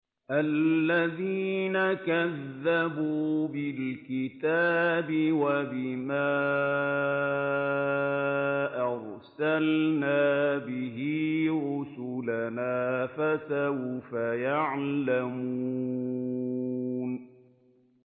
الَّذِينَ كَذَّبُوا بِالْكِتَابِ وَبِمَا أَرْسَلْنَا بِهِ رُسُلَنَا ۖ فَسَوْفَ يَعْلَمُونَ